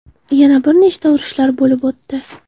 Yana bir nechta urushlar bo‘lib o‘tdi.